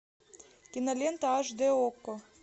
кинолента аш дэ окко